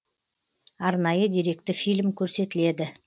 арнайы деректі фильм көрсетіледі